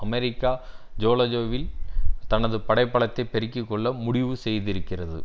America ஜோலோவில் தனது படை பலத்தை பெருக்கிக்கொள்ள முடிவு செய்திருக்கிறது